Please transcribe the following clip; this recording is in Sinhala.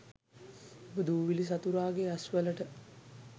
ඔබ දූවිලි සතුරාගේ ඇස් වලට